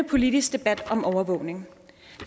politisk debat om overvågning